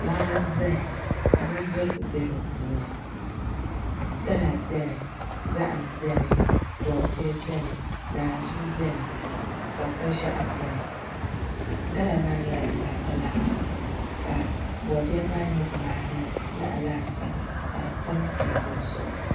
Laa n ʒɛya ka bindirigu bɛ di puuni gala bɛni zaham bɛni boodiyɛ bɛni naan zuu bɛni ka kpa ʒiɛɣu buni gala maa nyɛla dibata laasabu ka boodiyɛ maa nyɛ dibaanahi laasabu ka di tam teebuli zuɣu